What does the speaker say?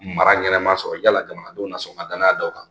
Mara ɲɛnama sɔrɔ yala jamanadenw na sɔn ka danaya da u kan